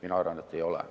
Mina arvan, et ei ole.